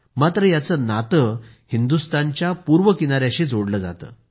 मात्र याचं नातं हिदुंस्तानच्या पूर्व किनायाशी जोडलं जातं